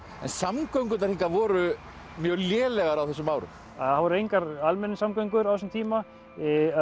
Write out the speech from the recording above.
en samgöngurnar voru mjög lélegar á þessum árum það voru engar almenningssamgöngur á þessum tíma